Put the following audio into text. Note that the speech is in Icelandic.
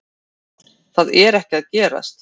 Það er ekki að gerast